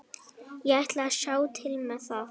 Ég ætla að sjá til með það.